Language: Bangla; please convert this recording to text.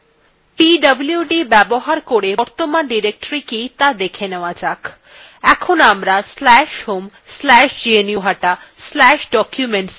pwd ব্যবহার করে বর্তমান directoryকি ত়া দেখে নেওয়া যাক আমরা এখন/home/gnuhata/documentsdirectoryতে আছি